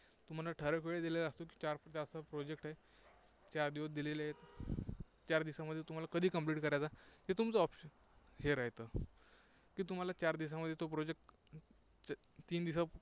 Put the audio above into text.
तुम्हाला ठराविक वेळ दिलेला असतो. project आहे, चार दिवस दिलेले आहेत. चार दिवसांमध्ये तुम्हाला कधी complete करायचा हे तुमचा option आहे, हे राहितं. की तुम्हाला चार दिवसांमध्ये तो project तीन दिवसांत